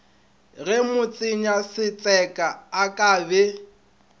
ge motsenyasetseka a ka be